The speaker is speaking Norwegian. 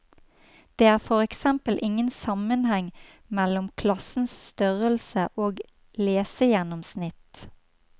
Det er for eksempel ingen sammenheng mellom klassens størrelse og lesegjennomsnitt.